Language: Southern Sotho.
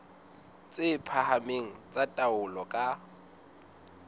tse phahameng tsa taolo ka